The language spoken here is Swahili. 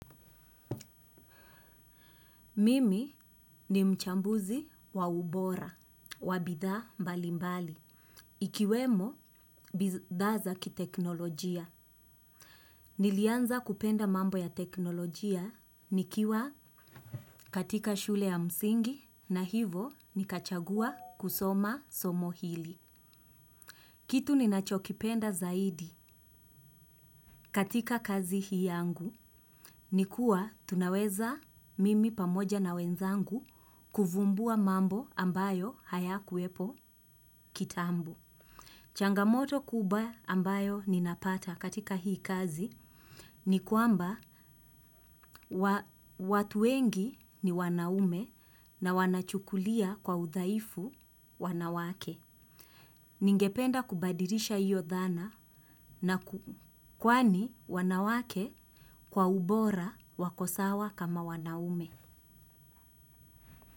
Mimi ni mchambuzi wa ubora, wa bidhaa mbalimbali. Ikiwemo bidhaa za kiteknolojia. Nilianza kupenda mambo ya teknolojia nikiwa katika shule ya msingi na hivo nikachagua kusoma somo hili. Kitu ninachokipenda zaidi katika kazi hii yangu. Ni kuwa tunaweza mimi pamoja na wenzangu kuvumbua mambo ambayo hayakuwepo kitambo. Changamoto kubwa ambayo ninapata katika hii kazi ni kwamba watu wengi ni wanaume na wanachukulia kwa udhaifu wanawake. Ningependa kubadilisha hiyo dhana na kwani wanawake kwa ubora wako sawa kama wanaume.